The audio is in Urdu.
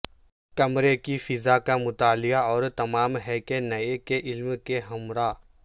کمرے کی فضا کا مطالعہ اور تمام ہے کہ نئے کے علم کے ہمراہ